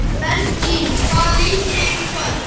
Berglín, hvaða leikir eru í kvöld?